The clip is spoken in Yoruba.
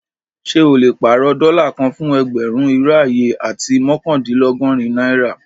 Ṣẹ o le pàárọ̀ dóla kàn fún ẹgbérùn, irò ayé, àti mọkandìnlọ́gọ̀rin naira?